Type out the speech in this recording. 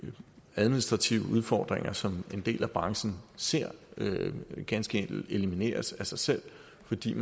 administrative udfordringer som en del af branchen ser ganske enkelt elimineres af sig selv fordi